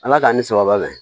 Ala k'an ni sababa bɛn